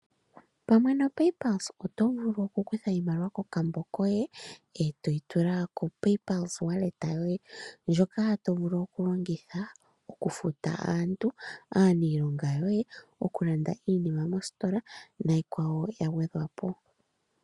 Pamwe noPayPulse oto vulu okukutha iimaliwa kokambo koye e to yi tula kopaypulse wallet yoye ndjoka to vulu okulongitha okufuta aantu, aanilonga yoye okulanda iinima mostola niikwawo ya gwedhwa po